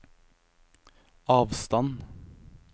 avstand